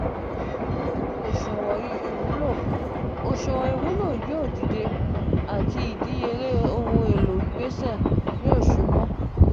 ewu oṣuwọn iwulo: oṣuwọn iwulo yoo dide ati idiyele ohun elo gbese yoo ṣubu.!